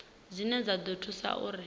dzine dza ḓo thusa uri